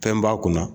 Fɛn b'a kunna